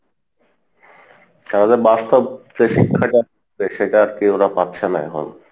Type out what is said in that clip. তারা যে বাস্তব যে শিক্ষাটা সেটা আর কী ওরা পাচ্ছে না এখন।